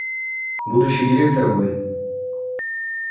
будущий директор вы